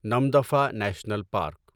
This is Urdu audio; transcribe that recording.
Namdapha national park